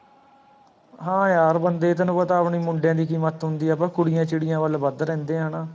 ਹਾਂ ਯਾਰ ਬੰਦੇ, ਤੈਨੂ ਪਤਾ ਆਪਣੀ ਮੁੰਡਿਆ ਦੀ ਕੀ ਮੱਤ ਹੁੰਦੀ ਆਪਾਂ ਕੁੜੀਆਂ ਚਿੜੀਆਂ ਵੱਲ ਵੱਧ ਰਹਿੰਦੇ ਹਾਂ ਨਾ